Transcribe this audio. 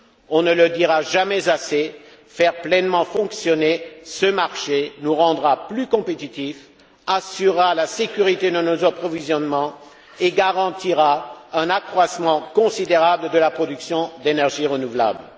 On ne dira jamais assez que faire pleinement fonctionner ce marché nous rendra plus compétitifs, assurera la sécurité de nos approvisionnements et garantira un accroissement considérable de la production d'énergies renouvelables.